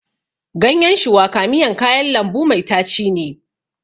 Ganyen shuwaka miyan kayan lambu mai tachi ne.